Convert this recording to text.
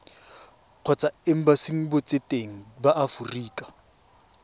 kgotsa embasing botseteng ba aforika